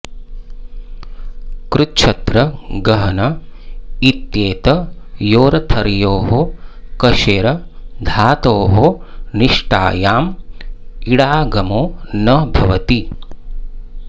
कृच्छ्र गहन इत्येतयोरर्थयोः कषेर् धातोः निष्ठायाम् इडागमो न भवति